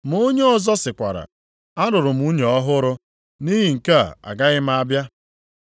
“Ma onye ọzọ sịkwara, ‘Alụrụ m nwunye ọhụrụ, nʼihi nke a agaghị m abịa.’